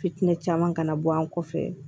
Fitinɛ kana bɔ an kɔfɛ